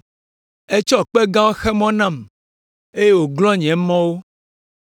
Etsɔ kpe gãwo xe mɔ me nam eye wòglɔ̃ nye mɔwo.